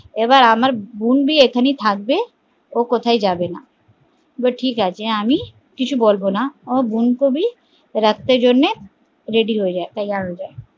আবার আমার বোনবী এখানে থাকবে ও কোথাও যাবে না, বলে ঠিক আছে কিছু বলবনা আমি বোন ক ভি রাখতে জন্যে ready তৈয়ার হয়ে যায়